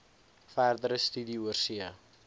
verdere studie oorsee